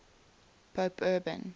pope urban